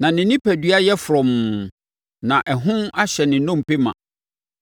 na ne onipadua yɛ frɔmm, na ɛhon ahyɛ ne nnompe ma.